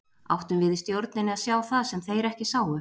Áttum við í stjórninni að sjá það sem þeir ekki sáu?